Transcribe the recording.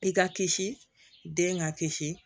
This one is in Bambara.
I ka kisi den ka kisi